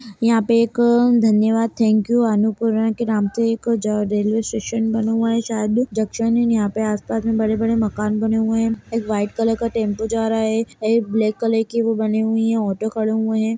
यहाँ एक धन्यवाद थैंक्यू अन्नपूर्णा के नाम से एक ज-रेलवे स्टेशन बना हुआ है शायद जंक्शन इन यहाँ पे आस पास में बड़े-बड़े मकान बने हुए हैं एक वाइट कलर का टेंपो जा रहा है एक ब्लैक कलर की वो बनी हुई है ऑटो खड़े हुए हैं।